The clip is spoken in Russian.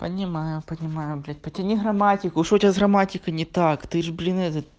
понимаю понимаю блять потяни грамматику что у тебя с грамматикой не так ты ж блин этот